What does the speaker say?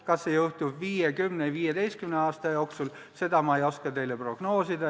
Kas see juhtub 5, 10 või 15 aasta jooksul, seda ei oska ma teile prognoosida.